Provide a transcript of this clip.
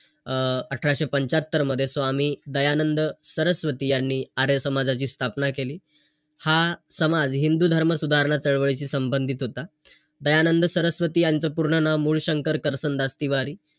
अं अठराशे पंच्यात्तर मध्ये, स्वामी दयानंद सरस्वती यांनी आर्य समाजाची स्थापना केली. हा समाज हिंदू धर्म सुधारणा चळवळीशी संबंधित होता. दयानंद सरस्वती यांचं पूर्ण नावं, मूळशंकर करचंदास तिवारी.